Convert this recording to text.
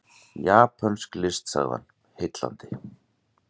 Japönsk list sagði hann, heillandi.